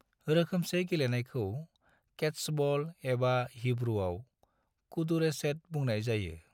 रोखोमसे गेलेनायखौ केत्सबल, एबा हिब्रूआव, कदुरेशेट बुंनाय जायो।